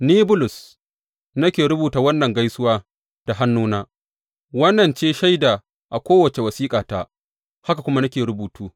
Ni, Bulus, nake rubuta wannan gaisuwa da hannuna, wannan ce shaida a kowace wasiƙata, haka nake rubutu.